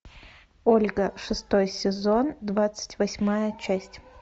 ольга шестой сезон двадцать восьмая часть